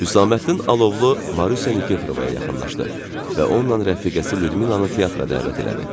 Hüsaməddin Alovlu Marusiya Nikeferovaya yaxınlaşdı və onunla rəfiqəsi Lyudmilanın teatra dəvət elədi.